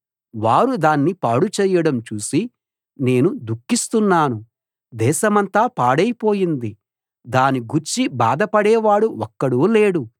వారు దాన్ని పాడు చేయడం చూసి నేను దుఃఖిస్తున్నాను దేశమంతా పాడైపోయింది దాని గూర్చి బాధపడే వాడు ఒక్కడూ లేడు